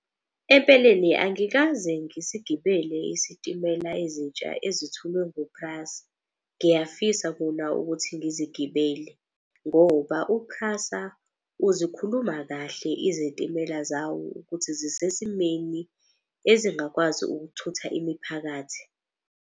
Empeleni angikaze ngisigibele isitimela ezintsha ezithulwe nguPrasa. Ngiyafisa kona ukuthi ngizigibele, ngoba uPrasa uzikhuluma kahle izitimela zawo ukuthi zisesimeni ezingakwazi ukuthutha imiphakathi.